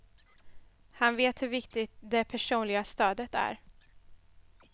Han vet hur viktigt det personliga stödet är.